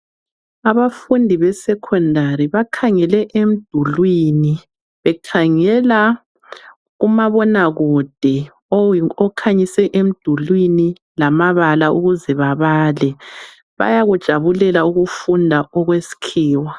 Abafundi besecondary bakhangele emdulwini bekhangela umabona kude okhanyise emdulwini lamabala ukuze babale bayakujabulela ukufunda okweskhiwa.